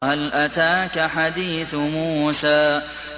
وَهَلْ أَتَاكَ حَدِيثُ مُوسَىٰ